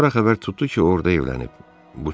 Sonra xəbər tutdu ki, o orada evlənib.